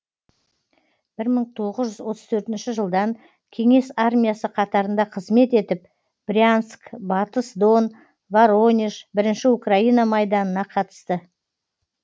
бір мың тоғыз жүз отыз төртінші жылдан кеңес армиясы қатарында қызмет етіп брянск батыс дон воронеж бірінші украина майданына қатысты